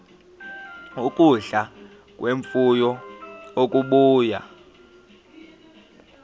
ukudla kwemfuyo okubuya